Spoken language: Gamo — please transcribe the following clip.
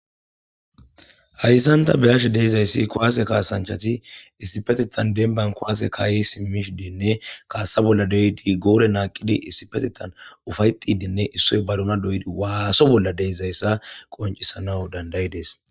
hayssanta beyashe deizayssi kowaase kaasanchati issipetitan demban kowaase kaayi simishi dinne kaassa bolla deydi goore naaqidi issipetitan ufayxidiinne issoy baduma doydi waaso bolla deizayssa qoncisanaw dandayi dees